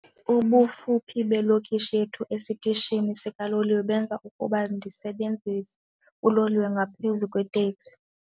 Ubufuphi belokishi yethu esitishini sikaloliwe benza ukuba ndisebenzise uloliwe ngaphezu kweeteksi.